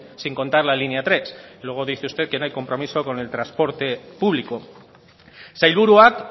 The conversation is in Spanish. sin contar la línea tres luego dice usted que no hay compromiso con el transporte público sailburuak